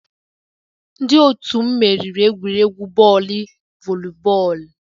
Ndị otu m meriri egwuregwu bọọlụ volleyball